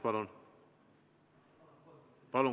Palun!